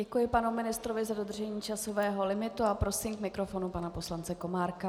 Děkuji panu ministrovi za dodržení časového limitu a prosím k mikrofonu pana poslance Komárka.